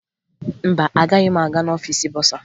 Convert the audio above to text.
Mba, agaghị m aga n'ọfiisi bọsaa